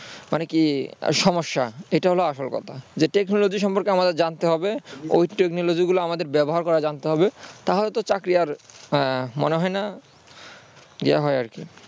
মানে কি সমস্যা? এটা হল আসল কথা যে technology সম্পর্কে আমাদেরকে জানতে ওই technology গুলা আমাদের ব্যবহার করা জানতে হবে তাহলে তো চাকরি আর মনে হয় না ইয়ে হয় আর কি